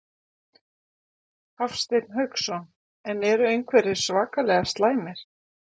Hafsteinn Hauksson: En eru einhverjir svakalega slæmir?